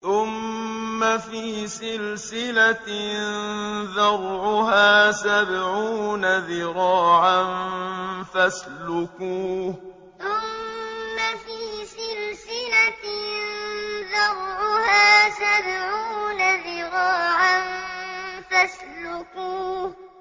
ثُمَّ فِي سِلْسِلَةٍ ذَرْعُهَا سَبْعُونَ ذِرَاعًا فَاسْلُكُوهُ ثُمَّ فِي سِلْسِلَةٍ ذَرْعُهَا سَبْعُونَ ذِرَاعًا فَاسْلُكُوهُ